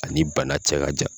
Ani bana cɛ ka jan.